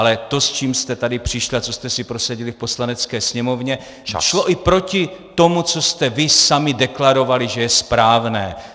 Ale to, s čím jste tady přišli a co jste si prosadili v Poslanecké sněmovně, šlo i proti tomu, co jste vy sami deklarovali, že je správné.